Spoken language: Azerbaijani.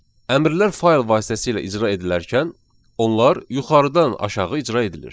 Əmrlər fayl vasitəsilə icra edilərkən, onlar yuxarıdan aşağı icra edilir.